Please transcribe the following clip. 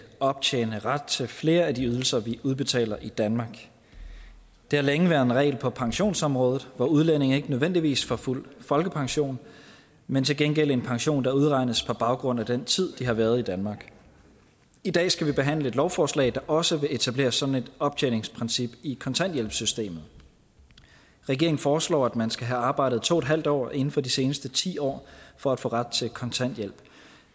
optjene ret til flere af de ydelser vi udbetaler i danmark det har længe været en regel på pensionsområdet hvor udlændinge ikke nødvendigvis får fuld folkepension men til gengæld en pension der udregnes på baggrund af den tid de har været i danmark i dag skal vi behandle et lovforslag der også vil etablere sådan et optjeningsprincip i kontanthjælpssystemet regeringen foreslår at man skal have arbejdet to en halv år inden for de seneste ti år for at få ret til kontanthjælp